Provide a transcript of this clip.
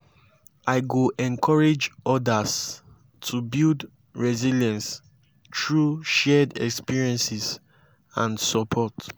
i go encourage others to build resilience through shared experiences and support.